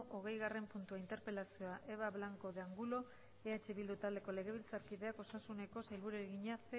hogeigarren puntua interpelazioa eva blanco de angulo eh bildu taldeko legebiltzarkideak osasuneko sailburuari egina